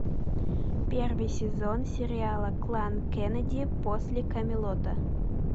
первый сезон сериала клан кеннеди после камелота